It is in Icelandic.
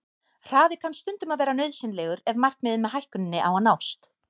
Hraði kann stundum að vera nauðsynlegur ef markmiðið með hækkuninni á að nást.